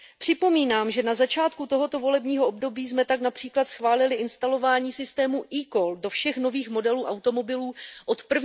Připomínám, že na začátku tohoto volebního období jsme tak například schválili instalování systému eCall do všech nových modelů automobilů od